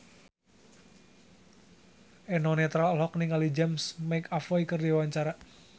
Eno Netral olohok ningali James McAvoy keur diwawancara